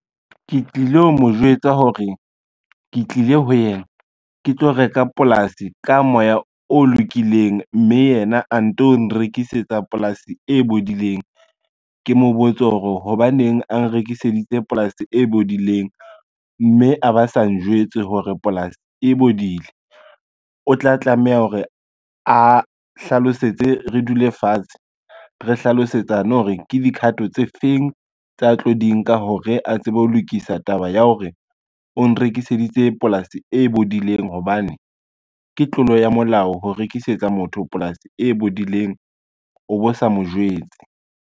Ke tlilo mo jwetsa hore ke tlile ho yena, ke tlo reka polasi ka moya o lokileng, mme yena a nto nrekisetsa polasi e bodileng. Ke mo botse hore hobaneng a nrekiseditse polasi e bodileng, mme a ba sa njwetse hore polasi e bodile. O tla tlameha hore a hlalosetse re dule fatshe, re hlalosetsana hore ke dikhato tse feng tsa tlo di nka hore a tsebe ho lokisa taba ya hore o nrekiseditse polasi e bodileng hobane, ke tlolo ya molao ho rekisetsa motho polasi e bodileng o bo sa mo jwetse.